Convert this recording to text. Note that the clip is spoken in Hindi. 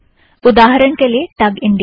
उदाहरण के लिए - टग इंडिया